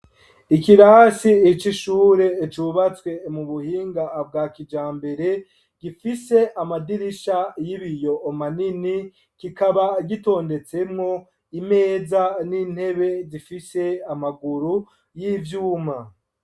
Ikirasi c'ishure cubatswe mu buhinga bwa kijambere, gifise amadirisha y'ibiyo manini, kikaba gitondetsemwo imeza n'intebe zifise amaguru y'ivyuma.